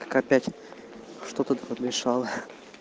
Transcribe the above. как опять что то ты подмешала